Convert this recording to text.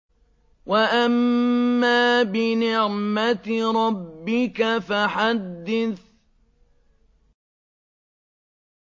وَأَمَّا بِنِعْمَةِ رَبِّكَ فَحَدِّثْ